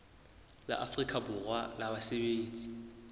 la afrika borwa la basebetsi